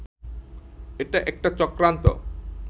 এটা একটা চক্রান্ত